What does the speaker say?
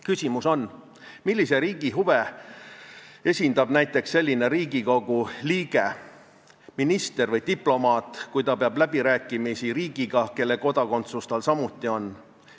Küsimus on, millise riigi huve esindab näiteks selline Riigikogu liige, minister või diplomaat, kui ta peab läbirääkimisi riigiga, kelle kodakondsus tal samuti on.